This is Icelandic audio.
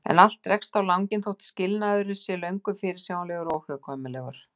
En allt dregst á langinn þótt skilnaður sé löngu fyrirsjáanlegur og óhjákvæmilegur.